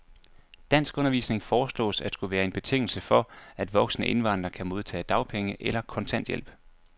Danskundervisning foreslås at skulle være en betingelse for, at voksne indvandrere kan modtage dagpenge eller kontanthjælp.